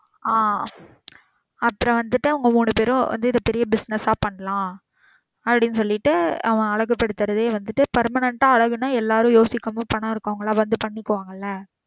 ஆ அப்புறம் வந்துட்டு அவங்க மூணு பேரும் வந்து இத பெரிய business ஆ பண்ணலாம் அப்படின்னு சொல்லிட்டு அவன் அழகு படுத்துரதையே வந்துட்டு permanent ஆ அழகு அழகுனா எல்லாரும் யோசிக்கும் போது பணம் இருக்குறவங்க எல்லாம் வந்து பண்ணிபாங்கள.